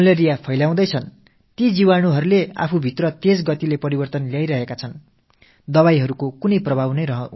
malaria காசநோய் ஆகியவற்றை ஏற்படுத்தும் நுண்ணுயிர்க்கிருமிகள் மருந்துகள் மாற்றத்தை ஏற்படுத்த முடியாத வகையில் மருந்துக்கு எதிரான சக்தியை வளர்த்துக்கொள்கின்றன